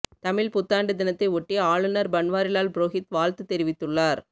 தமிழ் புத்தாண்டு தினத்தை ஒட்டி ஆளுநர் பன்வாரிலால் புரோகித் வாழ்த்து தெரிவித்துள்ளார்